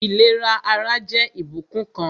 Ìlera ara jẹ́ ìbùkún kan